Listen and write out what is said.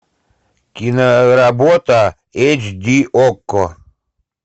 киноработа эйч ди окко